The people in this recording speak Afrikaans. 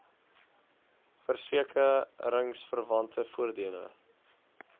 verseke ringsverwante voordele